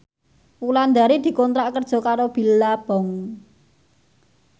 Wulandari dikontrak kerja karo Billabong